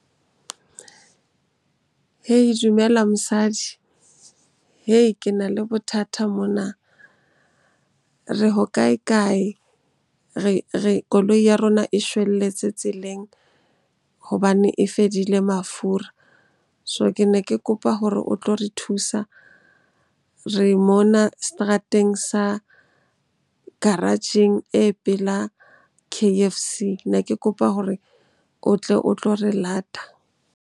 Hey, dumela mosadi. Ke na le bothata mona, re ho kae-kae? Koloi ya rona e shwelletse tseleng hobane e fedile mafura. So, ke ne ke kopa hore o tlo re thusa. Re mona seterateng sa garage-eng e pela K_F_C. Ne ke kopa hore o tle o tlo re lata.